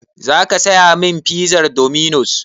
Zaka saya min pizar dominos?